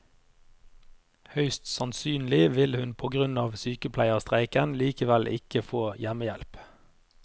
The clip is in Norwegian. Høyst sannsynlig vil hun på grunn av sykepleierstreiken likevel ikke få hjemmehjelp.